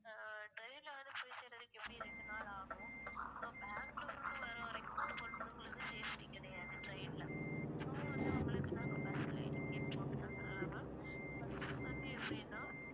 ஆஹ் train ல வந்து போய் சேர்றதுக்கு எப்படி ரெண்டு நாள் ஆகும் so பெங்களூர்க்கு வரவரைக்கும் பொண்ணுங்களுக்கு safety கிடையாது train ல so வந்து உங்களுக்கு நாங்க bus லேயே ticket போட்டு தந்தறேன் ma'am bus வந்து எப்படின்னா